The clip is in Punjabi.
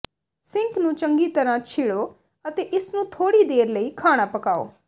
ਸਿੰਕ ਨੂੰ ਚੰਗੀ ਤਰ੍ਹਾਂ ਛਿੜੋ ਅਤੇ ਇਸ ਨੂੰ ਥੋੜ੍ਹੀ ਦੇਰ ਲਈ ਖਾਣਾ ਪਕਾਓ